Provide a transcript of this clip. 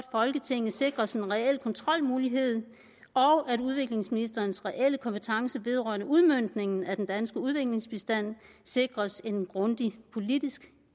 folketinget sikres en reel kontrolmulighed og at udviklingsministerens reelle kompetence vedrørende udmøntningen af den danske udviklingsbistand sikres en grundig politisk